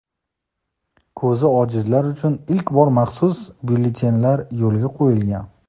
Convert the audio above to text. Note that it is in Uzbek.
Ko‘zi ojizlar uchun ilk bor maxsus byulletenlar yo‘lga qo‘yilgan”.